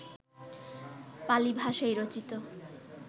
পালি ভাষায় রচিত